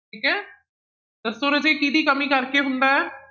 ਠੀਕ ਹੈ, ਦੱਸੋ ਰਾਜੇ ਕਿਹਦੀ ਕਮੀ ਕਰਕੇ ਹੁੰਦਾ ਹੈ।